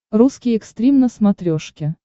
русский экстрим на смотрешке